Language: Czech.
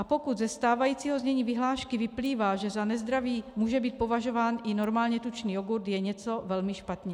A pokud ze stávajícího znění vyhlášky vyplývá, že za nezdravý může být považován i normálně tučný jogurt, je něco velmi špatně.